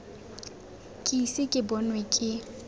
ke ise ke bonwe ke